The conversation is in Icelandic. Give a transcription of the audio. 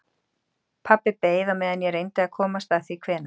Pabbi beið á meðan ég reyndi að komast að því hvenær